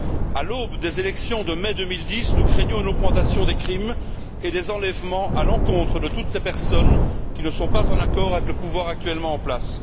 À l'aube des élections de mai 2010, nous craignons une augmentation des crimes et des enlèvements à l'encontre de toutes les personnes qui ne sont pas en accord avec le pouvoir actuellement en place.